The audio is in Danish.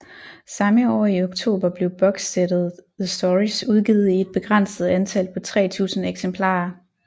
Samme år i oktober blev bokssættet The Stories udgivet i et begrænset antal på 3000 eksemplarer